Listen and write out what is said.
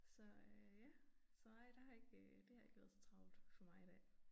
Så øh ja så nej der har ikke øh det har ikke været så travlt for mig i dag